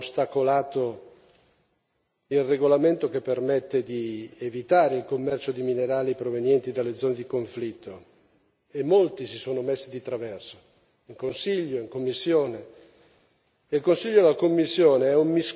assemblea, da parte di chi, tra l'altro, ha ostacolato il regolamento che permette di evitare il commercio di minerali provenienti dalle zone di conflitto, e molti si sono messi di traverso, in Consiglio e in Commissione.